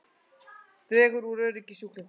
Dregur úr öryggi sjúklinga